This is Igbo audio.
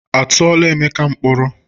A tụọla Emeka mkpọrọ?